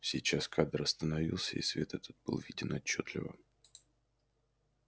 сейчас кадр остановился и свет этот был виден отчётливо